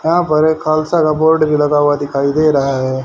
यहां पर एक खालसा का बोर्ड भी लगा हुआ दिखाई दे रहा है।